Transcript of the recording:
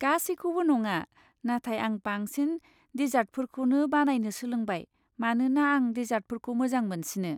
गासैखौबो नङा, नाथाय आं बांसिन डिसार्टफोरखौनो बानायनो सोलोंबाय मानोना आं डिसार्टफोरखौ मोजां मोनसिनो।